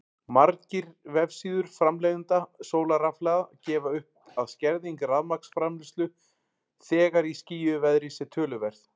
Margir vefsíður framleiðenda sólarrafhlaða gefa upp að skerðing rafmagnsframleiðslu þegar í skýjuðu veðri sé töluverð.